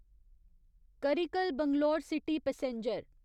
Karikal Bangalore city passenger